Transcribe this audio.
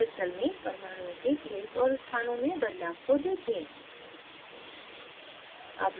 crystal में परमाणुओं के planes और स्थानों में बदलाव को देखें